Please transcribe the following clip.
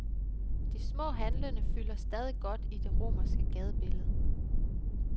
De små handlende fylder stadig godt i det romerske gadebillede.